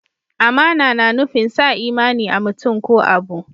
Amana na nufin sa imani a'mutum ko abu.